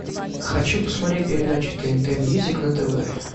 хочу посмотреть передачу тнт мьюзик на тв